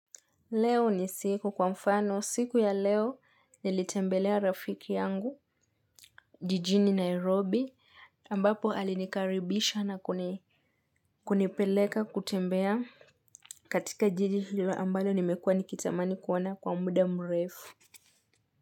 Leo ni siku kwa mfano, siku ya leo nilitembelea rafiki yangu, jijini Nairobi, ambapo alinikaribisha na kunipeleka kutembea katika jiji hilo ambalo nimekua nikitamani kuona kwa muda mrefu.